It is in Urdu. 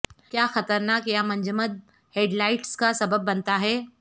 کیا خطرناک یا منجمد ہیڈلائٹس کا سبب بنتا ہے